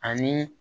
Ani